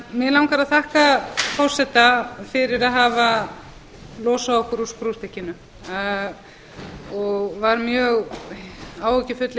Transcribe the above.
mig langar að þakka forseta fyrir að hafa losað okkur úr skrúfstykkinu ég var mjög áhyggjufull